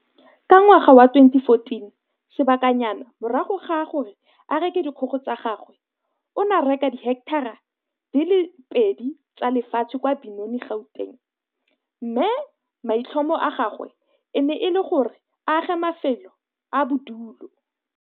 Ka ngwaga wa 2014, sebakanyana morago ga gore a reke dikgogo tsa gagwe, o ne a reka diheketara di le pedi tsa lefatshe kwa Benoni, Gauteng, mme maitlhomo a gagwe e ne e le go aga mafelo a bodulo.